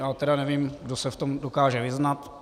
Já tedy nevím, kdo se v tom dokáže vyznat.